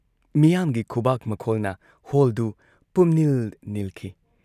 ꯃꯤꯌꯥꯥꯝꯒꯤ ꯈꯨꯕꯥꯛ ꯃꯈꯣꯜꯅ ꯍꯣꯜꯗꯨ ꯄꯨꯝꯅꯤꯜ ꯅꯤꯜꯈꯤ ꯫